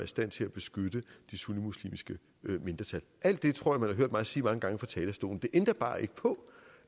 stand til at beskytte det sunnimuslimske mindretal alt det tror jeg man har hørt mig sige mange gange fra talerstolen det ændrer bare ikke på